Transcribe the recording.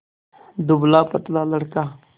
दुबलापतला लड़का